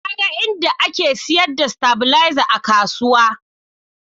Na ga inda ake sayar da stabilizer a kasuwa